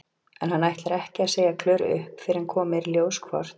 En hann ætlar ekki að segja Klöru upp fyrr en komið er í ljós hvort